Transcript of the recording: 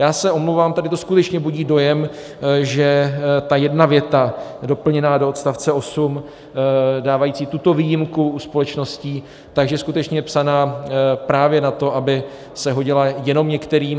Já se omlouvám, tady to skutečně budí dojem, že ta jedna věta doplněná do odstavce 8 dávající tuto výjimku u společností, že skutečně je psaná právě na to, aby se hodila jenom některým.